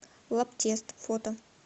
лабтест фото